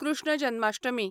Krishna Janmashtami